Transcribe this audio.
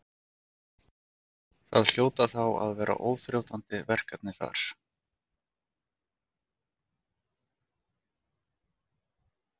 Það hljóta þá að vera óþrjótandi verkefni þar?